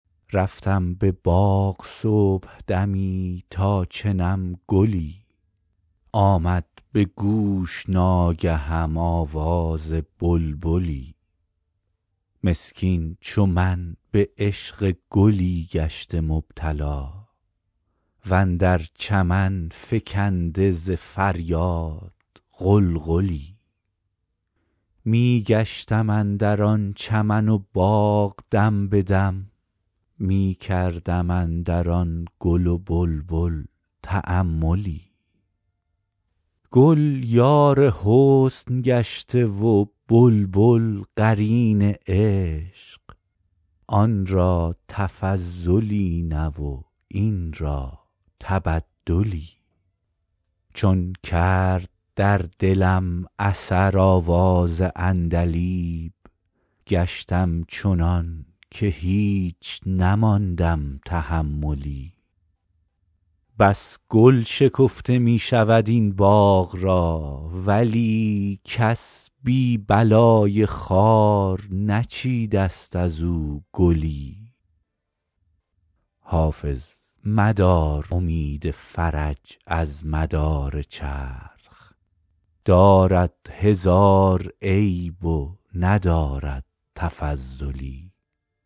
رفتم به باغ صبحدمی تا چنم گلی آمد به گوش ناگهم آواز بلبلی مسکین چو من به عشق گلی گشته مبتلا و اندر چمن فکنده ز فریاد غلغلی می گشتم اندر آن چمن و باغ دم به دم می کردم اندر آن گل و بلبل تاملی گل یار حسن گشته و بلبل قرین عشق آن را تفضلی نه و این را تبدلی چون کرد در دلم اثر آواز عندلیب گشتم چنان که هیچ نماندم تحملی بس گل شکفته می شود این باغ را ولی کس بی بلای خار نچیده ست از او گلی حافظ مدار امید فرج از مدار چرخ دارد هزار عیب و ندارد تفضلی